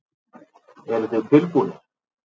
Eruð þið tilbúnir?